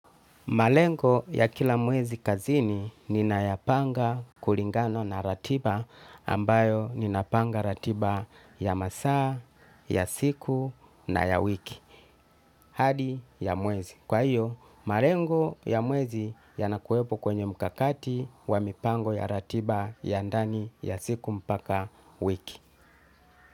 Malengo ya kila mwezi kazini ninayapanga kulingana na ratiba ambayo ninapanga ratiba ya masaa, ya siku na ya wiki. Hadi ya mwezi. Kwa hiyo, malengo ya mwezi yanakuwepo kwenye mkakati wa mipango ya ratiba ya ndani ya siku mpaka wiki.